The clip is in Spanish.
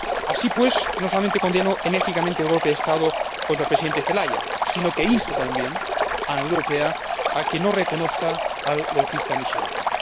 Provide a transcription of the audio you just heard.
Así pues, no solamente condeno enérgicamente el golpe de Estado contra el Presidente Zelaya, sino que insto también a la Unión Europea a que no reconozca al golpista Micheletti.